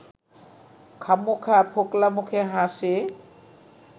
খামোখা ফোকলা মুখে হাসে